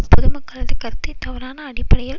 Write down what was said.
பொதுமக்களது கருத்தை தவறான அடிப்படையில்